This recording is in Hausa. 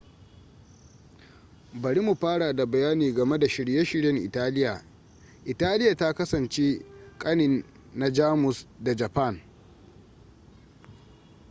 bari mu fara da bayani game da shirye-shiryen italiya italiya ta kasance kanin na jamus da japan